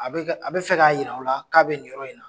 A bɛ ka a bɛ fɛ k'a jira aw la k'a bɛ nin yɔrɔ in na